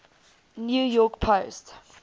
new york post